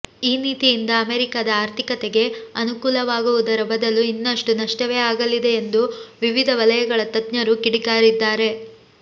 ಈ ನೀತಿಯಿಂದ ಅಮೆರಿಕದ ಆರ್ಥಿಕತೆಗೆ ಅನುಕೂಲವಾಗುವುದರ ಬದಲು ಇನ್ನಷ್ಟುನಷ್ಟವೇ ಆಗಲಿದೆ ಎಂದು ವಿವಿಧ ವಲಯಗಳ ತಜ್ಞರು ಕಿಡಿಕಾರಿದ್ದಾರೆ